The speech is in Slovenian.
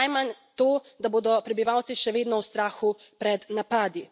Najmanj to, da bodo prebivalci še vedno v strahu pred napadi.